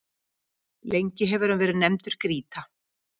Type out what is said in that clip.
Lengi hefur hann verið nefndur Grýta.